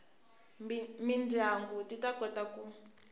mindyangu ti ta kota ku